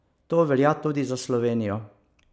To velja tudi za Slovenijo.